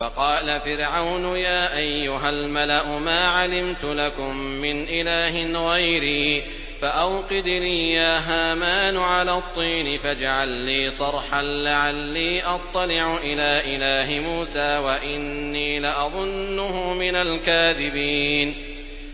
وَقَالَ فِرْعَوْنُ يَا أَيُّهَا الْمَلَأُ مَا عَلِمْتُ لَكُم مِّنْ إِلَٰهٍ غَيْرِي فَأَوْقِدْ لِي يَا هَامَانُ عَلَى الطِّينِ فَاجْعَل لِّي صَرْحًا لَّعَلِّي أَطَّلِعُ إِلَىٰ إِلَٰهِ مُوسَىٰ وَإِنِّي لَأَظُنُّهُ مِنَ الْكَاذِبِينَ